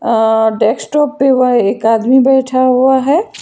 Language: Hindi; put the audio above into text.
अअअ डेस्कटॉप पर वह एक आदमी बैठा हुआ है।